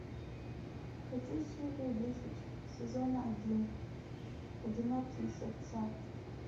хочу серию десять сезона один одинокие сердца